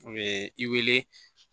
U ye i wele